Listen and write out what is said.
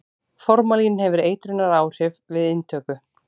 formalín hefur eitrunaráhrif við inntöku